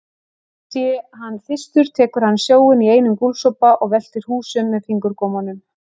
Sé hann þyrstur tekur hann sjóinn í einum gúlsopa og veltir húsum með fingurgómunum.